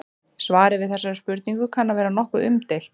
Svarið við þessari spurningu kann að vera nokkuð umdeilt.